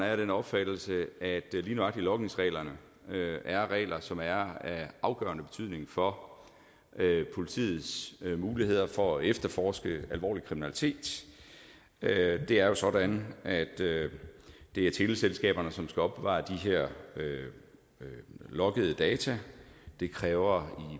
af den opfattelse at lige nøjagtig logningsreglerne er regler som er af afgørende betydning for politiets muligheder for at efterforske alvorlig kriminalitet det er jo sådan at det er teleselskaberne som skal opbevare de her loggede data det kræver